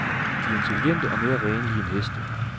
De er intelligente og mere renlige end heste.